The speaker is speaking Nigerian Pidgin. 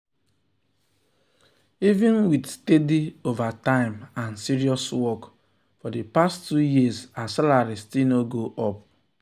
even with steady overtime and serious work for the past two years her salary still no go up. um